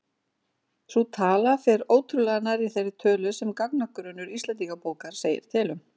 Sú tala fer ótrúlega nærri þeirri tölu sem gagnagrunnur Íslendingabókar segir til um.